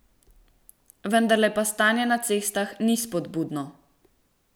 Vendarle pa stanje na cestah ni spodbudno.